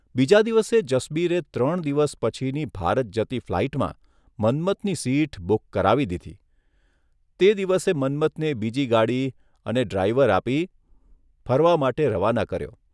બીજા દિવસે જસબીરે ત્રણ દિવસ પછીની ભારત જતી ફ્લાઇટમાં મન્મથની સીટ બુક કરાવી દીધી તે દિવસે મન્મથને બીજી ગાડી અને ડ્રાઇવર આપી ફરવા માટે રવાના કર્યો